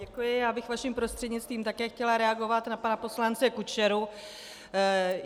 Děkuji, já bych vaším prostřednictvím také chtěla reagovat na pana poslance Kučeru.